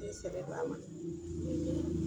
N'i y;i sɛbɛ don a ma